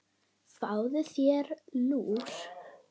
Fáðu þér lúr.